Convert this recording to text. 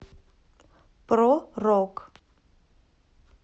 про рок